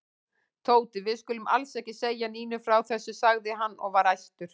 Tóti, við skulum alls ekki segja Nínu frá þessu sagði hann og var æstur.